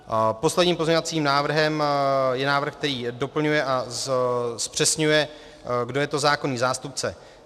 Posledním pozměňovacím návrhem je návrh, který doplňuje a zpřesňuje, kdo je to zákonný zástupce.